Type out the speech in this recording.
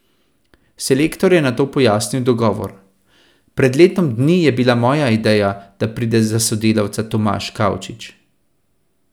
Selektor je nato pojasnil dogovor: "Pred letom dni je bila moja ideja, da pride za sodelavca Tomaž Kavčič.